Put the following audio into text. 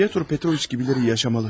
Pyotr Petroviç gibiləri yaşamalı.